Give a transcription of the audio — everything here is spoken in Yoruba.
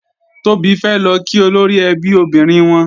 Tóbi fẹ́ lọ kí olóríẹbí obìnrin wọn